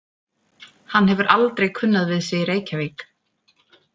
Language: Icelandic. Hann hefur aldrei kunnað við sig í Reykjavík.